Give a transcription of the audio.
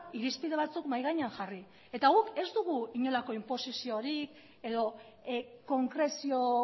irizpide batzuk mahai gainean jarri eta guk ez dugu inolako inposiziorik edo konkrezio